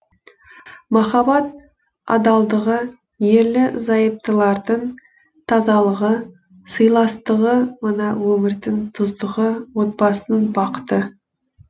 махаббат адалдығы ерлі зайыптылардың тазалығы сыйластығы мына өмірдің тұздығы отбасының бақыты